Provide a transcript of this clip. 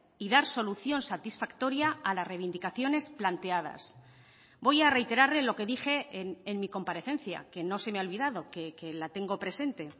y dar solución satisfactoria a las reivindicaciones planteadas voy a reiterarle lo que dije en mi comparecencia que no se me ha olvidado que la tengo presente